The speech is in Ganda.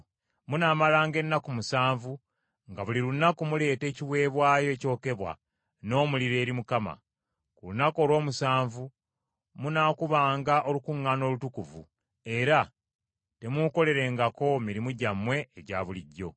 Munaamalanga ennaku musanvu nga buli lunaku muleeta ekiweebwayo ekyokebwa n’omuliro eri Mukama . Ku lunaku olw’omusanvu munaakubanga olukuŋŋaana olutukuvu, era temuukolerengako mirimu gyammwe egya bulijjo.”